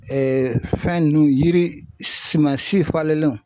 fɛn nunnu yiri suman si falen